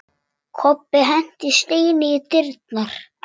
Kobbi henti steini í dyrnar.